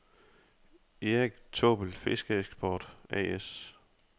Erik Taabbel Fiskeeksport A/S